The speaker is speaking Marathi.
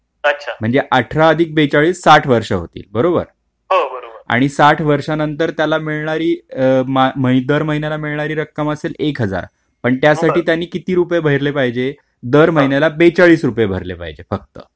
ता त्याने बेचाळ वर्ष ही रक्कम भरायची अठरा आदिक बेचाळीस साठ वर्ष होते, बरोबर तर साठ वर्षानंतर त्याला मिळणारी रक्कम म्हणजे एक हजार पण त्यासाठी त्यांनी किती रुपये भरले पाहिजे दर महिन्याला बेचाळीस रुपये भरले पाहिजे फक्त.